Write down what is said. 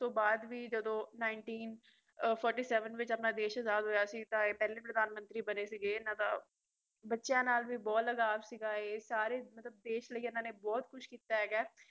ਬਾਅਦ ਵੀ ਜਦੋ ਉੱਨੀ ਸੌ ਸੰਤਾਲੀ ਵਿੱਚ ਆਪਣਾ ਦੇਸ਼ ਆਜ਼ਾਦ ਹੋਇਆ ਸੀ ਤਾਂ ਇਹ ਪਹਿਲੇ ਪ੍ਰਧਾਨ ਮੰਤਰੀ ਬਣੇ ਸਿਗੇ ਇਹਨਾਂ ਦਾ ਬਚਿਆ ਨਾਲ ਵੀ ਬਹੁਤ ਲਗਾਵ ਸੀਗਾ ਇਹ ਸਾਰੇ ਮਤਲਬ ਦੇਸ਼ ਲਈ ਇਹਨਾਂ ਨੇ ਬਹੁਤ ਕੁਝ ਕੀਤਾ ਹੈਗਾ